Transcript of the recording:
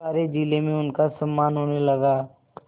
सारे जिले में उनका सम्मान होने लगा